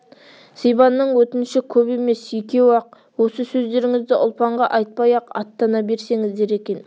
сибанның өтініші көп емес екеу-ақ осы сөздеріңізді ұлпанға айтпай-ақ аттана берсеңіздер екен